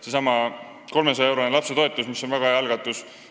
Seesama 300-eurone lapsetoetus on väga hea algatus.